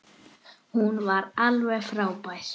Hún var alveg frábær.